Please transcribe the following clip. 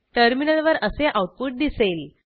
टर्मिनलवर असे आऊटपुट दिसेल